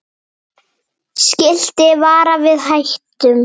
Skilti varar við hættum.